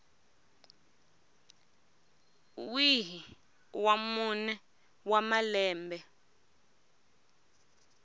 wihi wa mune wa malembe